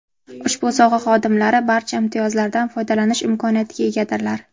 Ushbu soha xodimlari barcha imtiyozlardan foydalanish imkoniyatiga egadirlar.